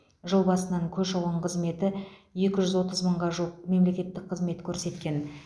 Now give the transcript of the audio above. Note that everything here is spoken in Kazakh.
жыл басынан көші қон қызметі екі жүз отыз мыңға жуық мемлекеттік қызмет көрсеткен